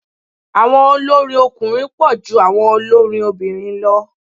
Àwọn olórin ọkùnrin pọ̀ ju àwọn olórin obìnrin lọ.